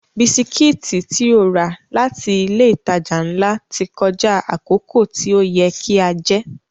Bisikítì tí ó rà láti ilé ìtajà ńlá ti kọjá àkókò tí ó yẹ kí a jẹ́